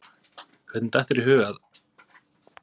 Hvernig datt þér í hug að.